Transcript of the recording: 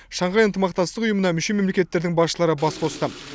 шанхай ынтымақтастық ұйымыына мүше мемлекеттердің басшылары бас қосты